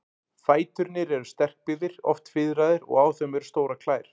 Fæturnir eru sterkbyggðir, oft fiðraðir, og á þeim eru stórar klær.